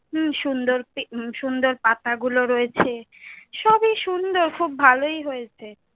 উম সুন্দর pic সুন্দর পাতা গুলো রয়েছে, সবই সুন্দর, খূব ভালোই হয়েছে।